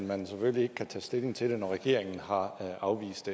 man selvfølgelig ikke kan tage stilling til det når regeringen har afvist